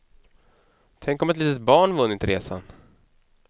Tänk om ett litet barn vunnit resan.